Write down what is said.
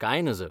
कांय नज !